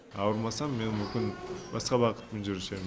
ауырмасам мен мүмкін басқа бағытпен жүруші едім